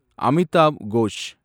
Amitav Ghosh